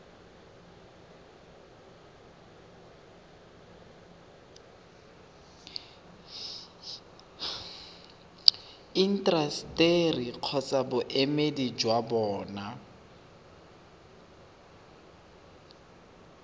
intaseteri kgotsa boemedi jwa bona